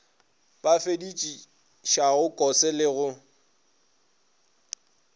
a befedišago kose le go